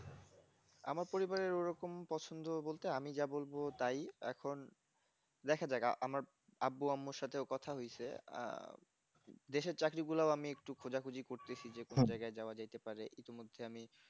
আমার পরিবারের ওরকম পছন্দ বলতে আমি যা বলব তাই এখন দেখা যাক আমার আব্বু আম্মুর সাথে ও কথা হয়েছে আহ দেশের চাকরী গুলা ও আমি একটু খোঁজাখুঁজি করতেছি যে কোন জায়গায় যাওয়া যাইতে পারে ইতিমধ্যে আমি